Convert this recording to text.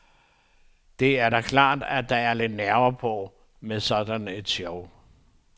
Det er da klart, at der er lidt nerver på med sådan et show.